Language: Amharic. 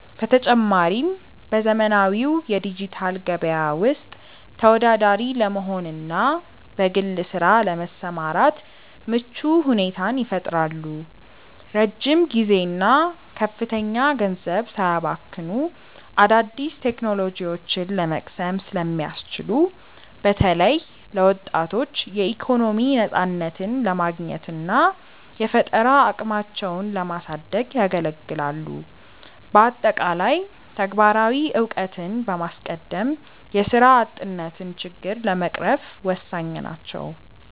በተጨማሪም፣ በዘመናዊው የዲጂታል ገበያ ውስጥ ተወዳዳሪ ለመሆንና በግል ስራ ለመሰማራት ምቹ ሁኔታን ይፈጥራሉ። ረጅም ጊዜና ከፍተኛ ገንዘብ ሳያባክኑ አዳዲስ ቴክኖሎጂዎችን ለመቅሰም ስለሚያስችሉ፣ በተለይ ለወጣቶች የኢኮኖሚ ነፃነትን ለማግኘትና የፈጠራ አቅማቸውን ለማሳደግ ያገለግላሉ። በአጠቃላይ፣ ተግባራዊ እውቀትን በማስቀደም የስራ አጥነትን ችግር ለመቅረፍ ወሳኝ ናቸው።